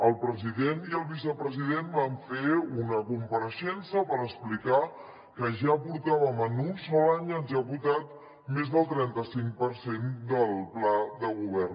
el president i el vicepresident van fer una compareixença per explicar que ja portàvem en un sol any executat més del trenta cinc per cent del pla de govern